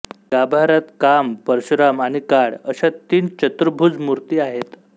गाभाऱ्यात काम परशुराम आणि काळ अशा तीन चतुर्भुज मूर्ती आहेत